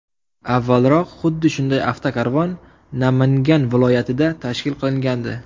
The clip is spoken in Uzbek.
Avvalroq xuddi shunday avtokarvon Namangan viloyatida tashkil qilingandi.